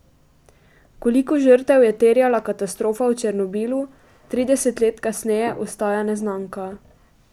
Koliko žrtev je terjala katastrofa v Černobilu, trideset let kasneje ostaja neznanka.